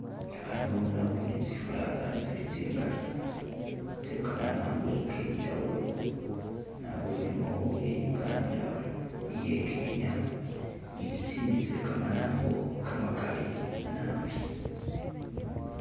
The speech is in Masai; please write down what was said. Ano naboone tsi flag tsili tsingali tse kamanambo kenjawulo , naboonemo iye Uganda, iye Kenya , ne tsitsindi tse kamanambo kamakali naabi